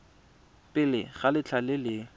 pele ga letlha le le